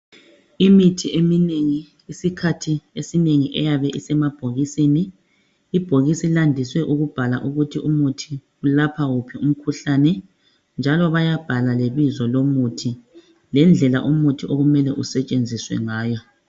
Imithi eminengi isikhathi esinengi iyabe isemabhokisini ibhokisi landise ukubhalwa ukuthi umuthi welapha wuphi umkhuhlane njalo bayabhala lebizo lomuthi lendlela umuthi okumele usetshenziswe ngayo.